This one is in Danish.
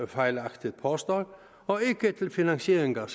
fejlagtigt påstår og ikke til finansiering af